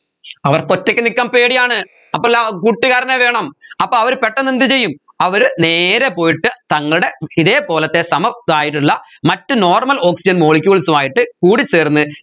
അവർക്ക് ഒറ്റയ്ക്ക് നിൽക്കാൻ പേടിയാണ് അപ്പൊല്ലാ കൂട്ടുകാരനെ വേണം അപ്പോ അവർ പെട്ടെന്ന് എന്തുചെയ്യും അവർ നേരെ പോയിട്ട് തങ്ങളുടെ ഇതേപോലെത്തെ സമ രായിട്ടുള്ള മറ്റു normal oxygen molecules ഉമായിട്ട് കൂടിച്ചേർന്ന്